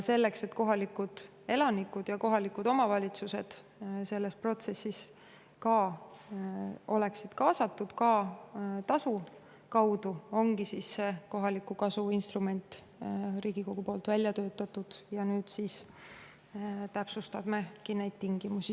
Selleks, et kohalikud elanikud ja kohalikud omavalitsused oleksid sellesse protsessi kaasatud, ka tasu kaudu, ongi see kohaliku kasu instrument Riigikogu poolt välja töötatud, ja nüüd me siis selle eelnõuga täpsustame neid tingimusi.